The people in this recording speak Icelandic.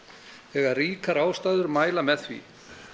þegar ríkar ástæður mæla með því